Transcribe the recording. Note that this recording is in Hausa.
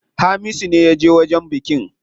Hamisu ne yaje wajen bikin.